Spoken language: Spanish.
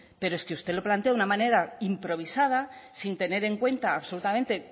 pero es que usted lo plantea de una manera improvisada sin tener en cuenta absolutamente en